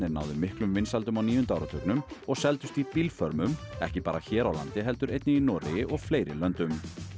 náðu miklum vinsældum á níunda áratugnum og seldust í ekki bara hér á landi heldur einnig í Noregi og fleiri löndum